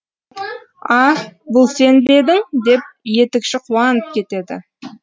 а бұл сен бе едің деп етікші қуанып кетеді